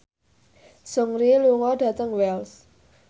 Seungri lunga dhateng Wells